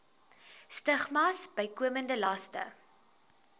stigmas bykomende laste